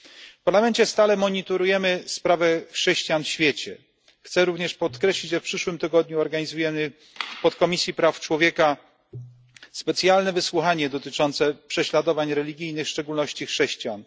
W Parlamencie stale monitorujemy sprawy chrześcijan w świecie. Chciałbym również podkreślić, że w przyszłym tygodniu zorganizujemy w Podkomisji Praw Człowieka specjalne wysłuchanie dotyczące prześladowań religijnych, w szczególności prześladowań chrześcijan.